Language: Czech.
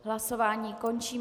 Hlasování končím.